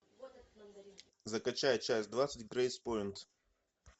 закачай часть двадцать грейспойнт